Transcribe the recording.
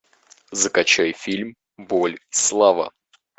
закачай фильм боль слава